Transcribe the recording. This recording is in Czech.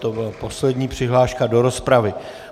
To byla poslední přihláška do rozpravy.